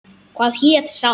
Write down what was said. Hvað hét sá?